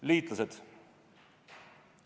Liitlased.